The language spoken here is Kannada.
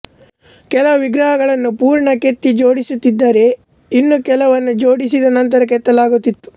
ಕೆಲವು ವಿಗ್ರಹಗಳನ್ನು ಪೂರ್ಣ ಕೆತ್ತಿ ಜೋಡಿಸುತ್ತಿದ್ದರೆ ಇನ್ನೂ ಕೆಲವನ್ನು ಜೋಡಿಸಿದ ನಂತರ ಕೆತ್ತಲಾಗುತ್ತಿತ್ತು